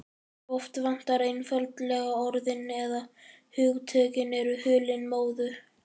Oft vantar einfaldlega orðin- eða hugtökin eru hulin móðu.